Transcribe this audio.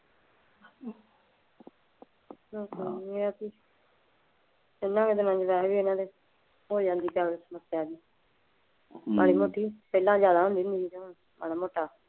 ਹੋਰ ਕੁਛ